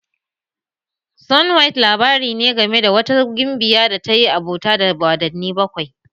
Snowhite labari ne game da wata gimbiya da ta yi abota da wadanni bakwai